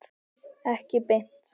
Ekki beint